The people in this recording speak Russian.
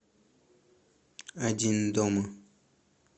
один дома